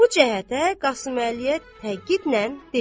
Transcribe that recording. Bu cəhətə Qasıməliyə təkidlə dedi.